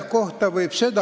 Kolm minutit juurde.